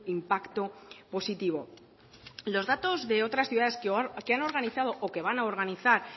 impacto positivo los datos de otras ciudades que han organizado o que van a organizar